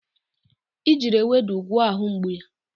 I jiri ewedu gwọọ ahụ mgbu ya.